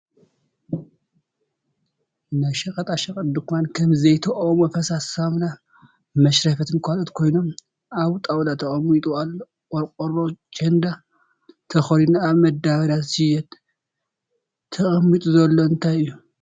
ናይ ሸቀጣ ሸቀጥ ድካን ከም ዘይቲ፣ ኦሞ ፣ ፈሳሲ ሳሙና፣ መሽረፈትን ካልኦትን ኮይኖም ኣብ ጣውላ ተቀሚጡ ኣሎ። ቆርቆሮ ቸንዳ ተከዲኑ ኣብ መዳበሪያ ዝሽየጥ ተቀሚጡ ዘሎ እንታይ እዩ?